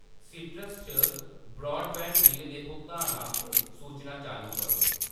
सीइट्रस च broadband bill दे भुगतान आस्तै सूचनां चालू करो।